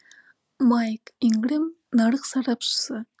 майк ингрэм нарық сарапшысы